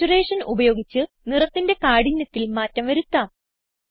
saturation ഉപയോഗിച്ച് നിറത്തിന്റെ കാഠിന്യത്തിൽ മാറ്റം വരുത്താം